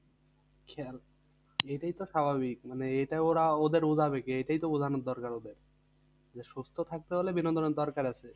কি আর এটাই তো স্বাভাবিক মানে এইটাই ওরা ওদের বোঝাবে কে? এইটাই তো বোঝানোর দরকার ওদের সুস্থ থাকতে হলে বিনোদনের দরকার আছে।